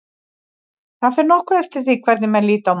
Það fer nokkuð eftir hvernig menn líta á málið.